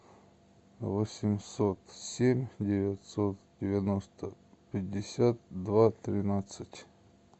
восемьсот семь девятьсот девяносто пятьдесят два тринадцать